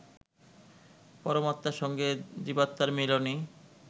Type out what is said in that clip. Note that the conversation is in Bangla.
পরমাত্মার সঙ্গে জীবাত্মার মিলনই